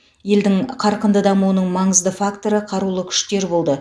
елдің қарқынды дамуының маңызды факторы қарулы күштер болды